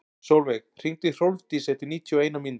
Solveig, hringdu í Hrólfdísi eftir níutíu og eina mínútur.